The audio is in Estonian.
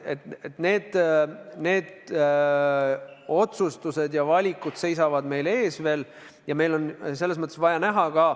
Need otsustused ja valikud seisavad meil veel ees.